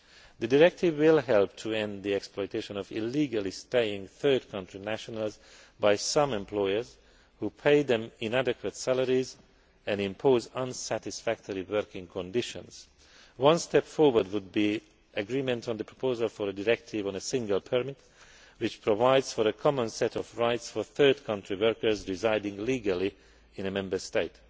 The directive will help to end the exploitation of illegally staying third country nationals by some employers who pay them inadequate salaries and impose unsatisfactory working conditions. One step forward would be agreement on the proposal for a directive on a single permit which provides for a common set of rights for third country workers residing legally in a Member State.